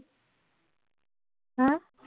হা?